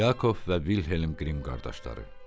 Yakov və Vilhelm Qrimm qardaşları.